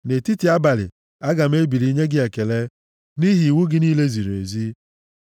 Nʼetiti abalị, aga m ebili nye gị ekele nʼihi iwu gị niile ziri ezi. + 119:62 \+xt Ọrụ 16:25\+xt*